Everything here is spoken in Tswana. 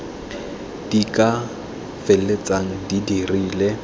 di ka feleltsang di dirile